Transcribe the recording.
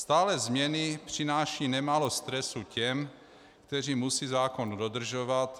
Stálé změny přinášejí nemálo stresu těm, kteří musí zákon dodržovat.